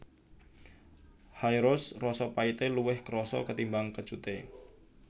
High Roast rasa pahité luwih krasa ketimbang kecuté